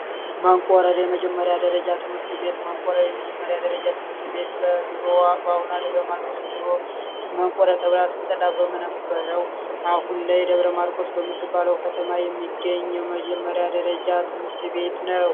መንቆረር የመጀመሪያ ደረጃ ትምህርት ቤት። መንቆረር የመጀመሪ ደረጃ ትምህርት ቤት በአሁኗ ደብረ ማርቆስ በድሮዋ መንቆረር ተብላ ትጠራ በነበረው አሁን ላይ ደብረ ማርቆ ተብላ በምትጠራው ከተማ የሚገኝ የመጀመሪያ ደረጃ ትምህርት ቤት ነው።